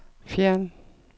fjern